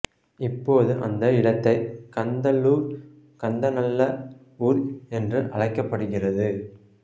இப்போது அந்த இடத்தை கந்தல்லூர் கந்த நல்ல ஊர் என்று அழைக்கப்படுகிறது